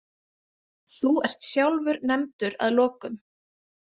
Þú ert sjálfur nefndur að lokum.